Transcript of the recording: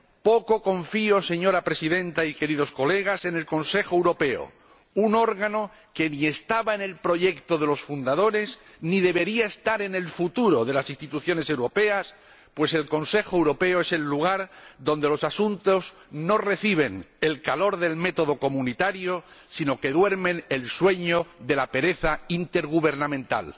Poco confío, señora Presidenta y queridos colegas, en el Consejo Europeo, un órgano que ni estaba en el proyecto de los fundadores, ni debería estar en el futuro de las instituciones europeas, pues el Consejo Europeo es el lugar donde los asuntos no reciben el calor del método comunitario, sino que duermen el sueño de la pereza intergubernamental.